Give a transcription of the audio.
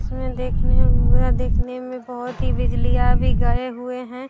उसमें देखने में वह देखने में बहुत ही बिजलियां भी गए हुए हैं।